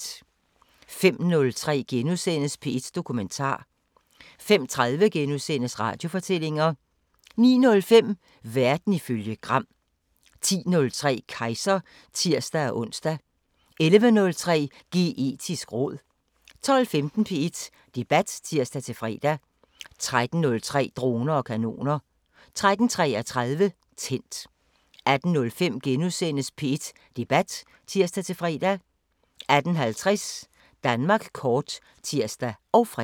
05:03: P1 Dokumentar * 05:30: Radiofortællinger * 09:05: Verden ifølge Gram 10:03: Kejser (tir-ons) 11:03: Geetisk råd 12:15: P1 Debat (tir-fre) 13:03: Droner og kanoner 13:33: Tændt 18:05: P1 Debat *(tir-fre) 18:50: Danmark kort (tir og fre)